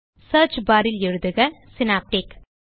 search barல் எழுதுக synaptic